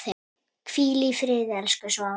Hvíl í friði, elsku Svafa.